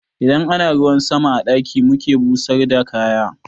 Idan ana ruwan sama a ɗaki muke busar da kaya